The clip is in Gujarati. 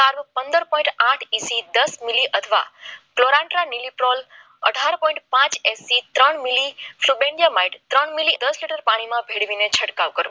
પંદર પોઈન્ટ આઠ ઇસ દસ મિલી અથવા અઢાર પોઈન્ટ પાંચ થી ત્રણ મિલી શુબિંગ યા માઈટ દસ એમ એમ ભેળવીમાં છંટકાવ કરવો